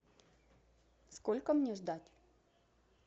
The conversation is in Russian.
сколько мне ждать